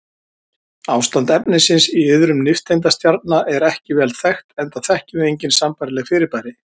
Ástand efnisins í iðrum nifteindastjarna er ekki vel þekkt enda þekkjum við engin sambærileg fyrirbæri.